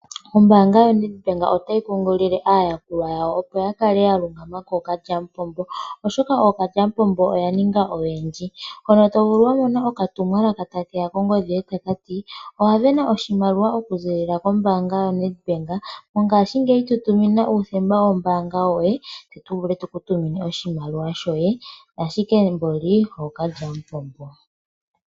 Ombaanga yoNedbank otayi kunkilile aayakulwa yawo opo ya kale ya lungama kookalyampombo oshoka oya ninga oyendji. Mono to vulu okumona okatumwakaka takati owa vena oshimaliwa okuza koNedbank tu tumina uuthemba woye wombaaga ashike nani ookalyampombo..